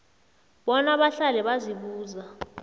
bona bahlale bazibuza